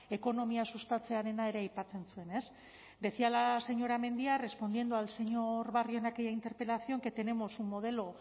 ekonomia sustatzearena ere aipatzen zuen decía la señora mendia respondiendo al señor barrio en aquella interpelación que tenemos un modelo